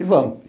E vamos.